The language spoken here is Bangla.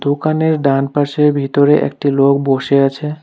দোকানের ডানপাশে ভিতরে একটি লোক বসে আছে।